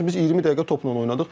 çünki biz 20 dəqiqə topla oynadıq.